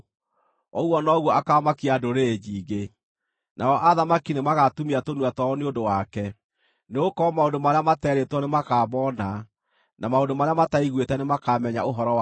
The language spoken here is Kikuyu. ũguo noguo akaamakia ndũrĩrĩ nyingĩ, nao athamaki nĩmagatumia tũnua twao nĩ ũndũ wake. Nĩgũkorwo maũndũ marĩa materĩtwo, nĩmakamoona, na maũndũ marĩa mataiguĩte, nĩmakamenya ũhoro wamo.